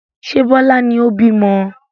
Ṣé Bọlá ni ó bímọ?